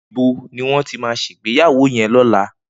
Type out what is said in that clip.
Nibó ni wón ti má sé igbéyàwó yèn lòlá?